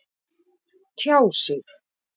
Tjá sig